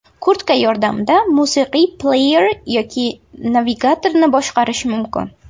Kurtka yordamida musiqiy pleyer yoki navigatorni boshqarish mumkin.